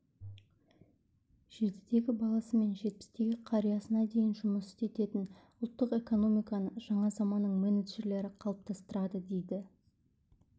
жетідегі баласы мен жетпістегі қариясына дейін жұмыс істететін ұлттық экономиканы жаңа заманның менеджерлері қалыптастырады дейді